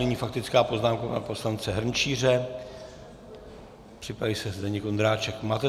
Nyní faktická poznámka pana poslance Hrnčíře, připraví se Zdeněk Ondráček.